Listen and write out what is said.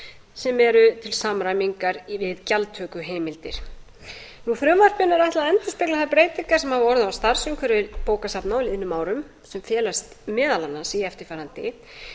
sem eru til samræmingar við gjaldtökuheimildir frumvarpinu er ætlað að endurspegla þær breytingar sem hafa orðið á starfsumhverfi bókasafna á liðnum árum sem felast meðal annars í eftirfarandi